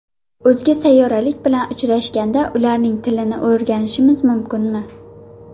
O‘zga sayyoraliklar bilan uchrashganda ularning tilini o‘rganishimiz mumkinmi?